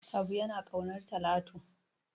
Habu yana ƙaunar Talatu.